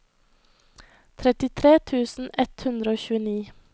trettitre tusen ett hundre og tjueni